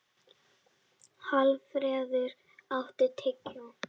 Hallfreður, áttu tyggjó?